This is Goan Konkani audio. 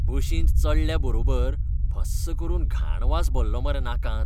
बशींत चडल्या बरोबर भस्स करून घाण वास भल्लो मरे नाकांत!